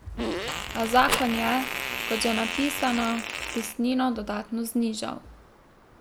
A zakon je, kot že napisano, vpisnino dodatno znižal.